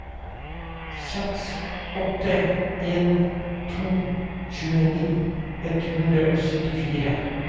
seks åtte en to tjueni ett hundre og syttifire